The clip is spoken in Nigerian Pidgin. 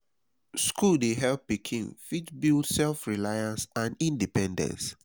school dey help pikin fit build self reliance and independence